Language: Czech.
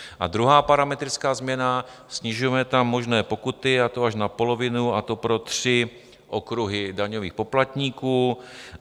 A druhá parametrická změna, snižujeme tam možné pokuty, a to až na polovinu, a to pro tři okruhy daňových poplatníků.